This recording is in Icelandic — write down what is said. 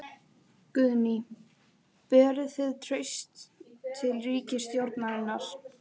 Guðný: Berið þið traust til ríkisstjórnarinnar?